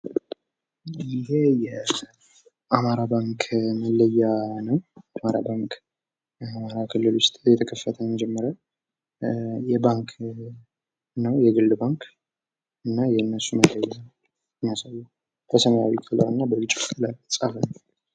ይሄ የአማራ ባንክ መለያ ነው። አማራ ባንክ አማራ ክልል ዉስጥ የተከፈተ የመጀመሪያ የግል ባንክ ነው። እና የነሱን ምልክት የሚያሳይ ነው በሰማያዊ ከለር እና በነጭ ከለር የተጻፈ ነው።